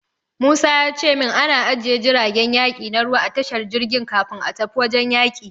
Musa ya ce min ana ajiye jiragen yaki na ruwa a tashar jirgin ruwa kafin a tafi wajen yaki.